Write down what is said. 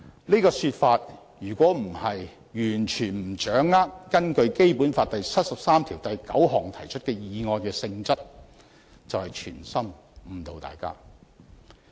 這種說法如非出於完全不掌握根據《基本法》第七十三條第九項提出的議案的性質，便是存心誤導大家。